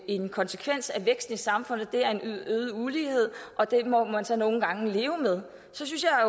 en konsekvens af væksten i samfundet er øget ulighed og at den må man så nogle gange leve med så synes jeg